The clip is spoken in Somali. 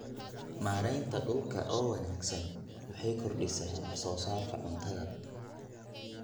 Maareynta dhulka oo wanaagsan waxay kordhisaa wax soo saarka cuntada.